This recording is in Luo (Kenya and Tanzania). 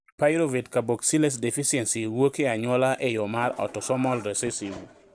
Pyruvate carboxylase deficiency wuok e anyuola e yo mar autosomal recessive